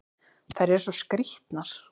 Þær eru svo skrýtnar!